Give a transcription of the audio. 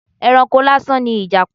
Ẹranko lásán ni Ìjàpá.